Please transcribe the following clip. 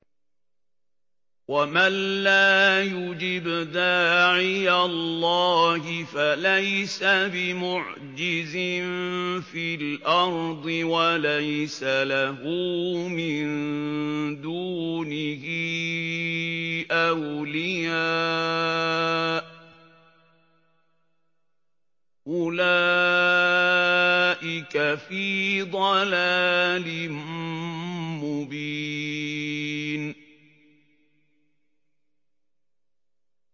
وَمَن لَّا يُجِبْ دَاعِيَ اللَّهِ فَلَيْسَ بِمُعْجِزٍ فِي الْأَرْضِ وَلَيْسَ لَهُ مِن دُونِهِ أَوْلِيَاءُ ۚ أُولَٰئِكَ فِي ضَلَالٍ مُّبِينٍ